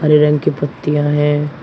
हरे रंग की पत्तियां है।